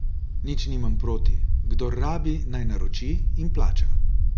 Nič nimam proti, kdor rabi naj naroči in plača.